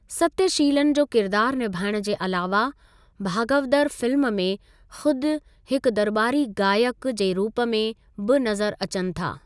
सत्यशीलन जो किरदारु निभाइणु जे अलावा, भागवदर फिल्म में खुद हिकु दरॿारी ॻायकु जे रूप में बि नज़रु अचनि था।